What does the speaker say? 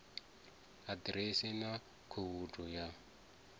a ḓiresi na khoudu ya